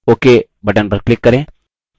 ok button पर click करें